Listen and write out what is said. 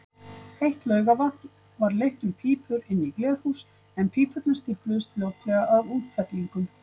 Heitt laugavatn var leitt um pípur inn í glerhús, en pípurnar stífluðust fljótlega af útfellingum.